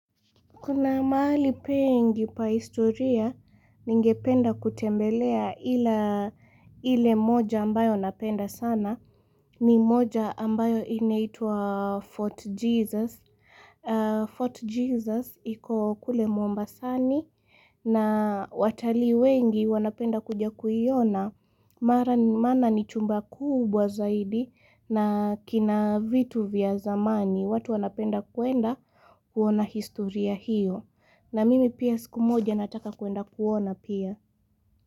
Kuna pahali pengi pa historia ningependa kutembelea ila ile moja ambayo napenda sana. Ni moja ambayo inaitua Fort Jesus. Fort Jesus iko kule Mombasani. Na watalii wengi wanapenda kuja kuiona. Maana ni chumba kubwa zaidi na kina vitu vya zamani. Watu wanapenda kuenda kuona historia hiyo. Na mimi pia siku moja nataka kuenda kuona pia.